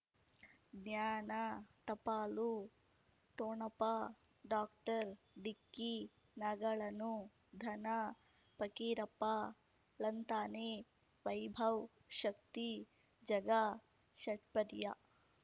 ಜ್ಞಾನ ಟಪಾಲು ಠೊಣಪ ಡಾಕ್ಟರ್ ಢಿಕ್ಕಿ ಣಗಳನು ಧನ ಫಕೀರಪ್ಪ ಳಂತಾನೆ ವೈಭವ್ ಶಕ್ತಿ ಝಗಾ ಷಟ್ಪದಿಯ